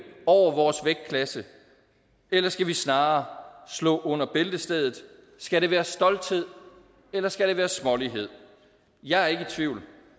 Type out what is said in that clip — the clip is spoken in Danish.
over vores vægtklasse eller skal vi snarere slå under bæltestedet skal det være stolthed eller skal det være smålighed jeg er ikke i tvivl